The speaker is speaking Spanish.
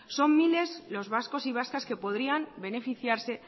son miles los vascos y vascas que podrían beneficiarse